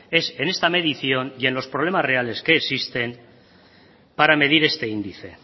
es en esta medición y en los problemas reales que existen para medir este índice